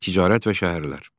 Ticarət və şəhərlər.